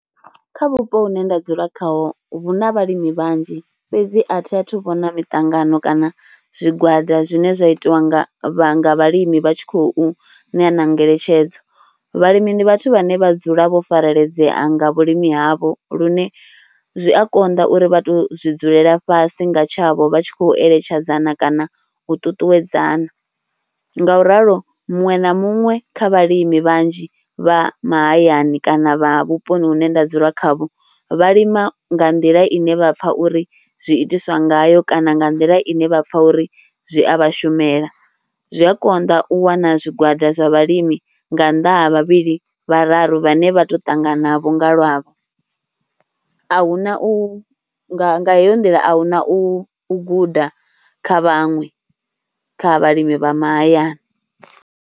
Kha vhupo hune nda dzula khaho hu na vhalimi vhanzhi fhedzi a thi a thu vhona miṱangano kana zwigwada zwine zwa itiwa nga vhalimi vha tshi khou ṋea ngeletshedzo, vhalimi ndi vhathu vhane vha dzula vho pfareledzea nga vhulimi havho lune zwi a konḓa uri vha to zwi dzulela fhasi nga tshavho vha tshi khou eletshedzana kana u tutuwedzana ngauralo muṅwe na muṅwe kha vhalimi vhanzhi vha mahayani kana vha vhuponi hune nda dzula khavho vha lima nga nḓila ine vha pfha uri zwi itiswa ngayo kana nga nḓila ine vha pfha uri zwi a vha shumela. Zwi a konḓa u wana zwigwada zwa vhalimi nga nnḓa ha vhavhili vhararu vhane vha to ṱanganavho nga lwavho a hu na u, nga heyo nḓila a hu na u guda kha vhaṅwe kha vhalimi vha mahayani.